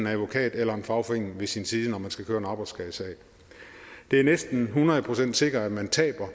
advokat eller en fagforening ved sin side når man skal køre en arbejdsskadesag det er næsten hundrede procent sikkert at man taber